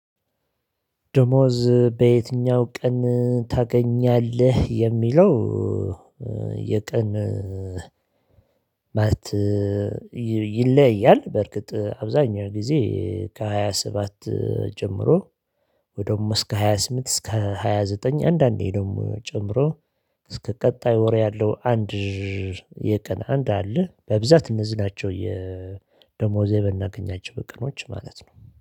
ደሞዝ በየትኛው ቀን ታገኛለህ የሚለው? የቀን ማለት ይለያያል። በርግጥ አብዛኛው ጊዜ ከሃያ ሰባት ጀምሮ ወደም እስከ ሃያ ስምንት እስከ ሃያ ዘጠኝ አንዳንዴ ደግሞ ጨምሮ። እስከ ቀጣይ ወር ያለው አንድ የቀን አንድ አለ። በብዛት እነዚህ ናቸው የደሞዜ የምናገኛቸው ቀኖች ማለት ነው